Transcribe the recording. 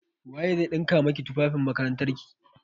Waye zai ɗinka maki tufafin makarantarki?